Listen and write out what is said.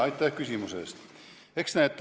Aitäh küsimuse eest!